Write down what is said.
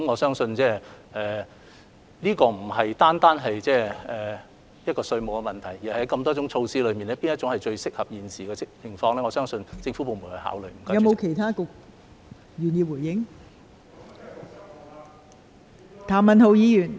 相信這不單關乎稅務問題，也涉及在眾多措施之中，哪一項最能切合現時的情況，相信相關政府部門會加以考慮。